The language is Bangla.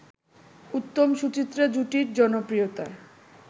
উত্তম-সুচিত্রা জুটির জনপ্রিয়তা